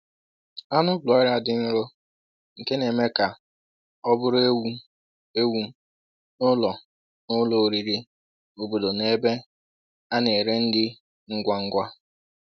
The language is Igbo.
Anụ broiler dị nro, nke na-eme ka ọ bụrụ ewu ewu n’ụlọ n’ụlọ oriri obodo na ebe a na-ere nri ngwa ngwa.